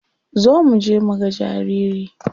Zo muje muga jariri.